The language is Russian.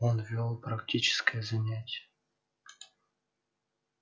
он вёл практическое занятие